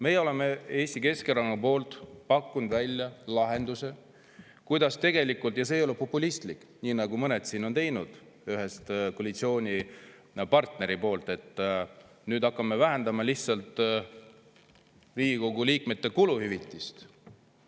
Meie oleme Eesti Keskerakonna poolt pakkunud välja lahenduse, mis ei ole populistlik nagu see, mida siin on üks koalitsioonipartner, et hakkame lihtsalt vähendama Riigikogu liikmete kuluhüvitist.